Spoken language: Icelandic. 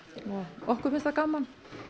okkur finnst það gaman